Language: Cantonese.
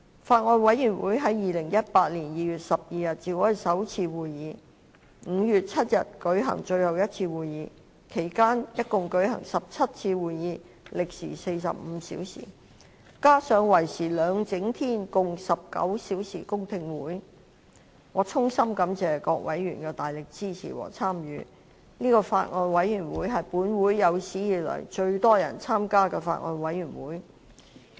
法案委員會在2018年2月12日召開首次會議 ，5 月7日舉行最後一次會議，其間共舉行17次會議，歷時45小時，加上為時兩整天共19小時的公聽會，我衷心感謝各委員的大力支持和參與，此法案委員會是本會有史以來最多人參加的法案委員會。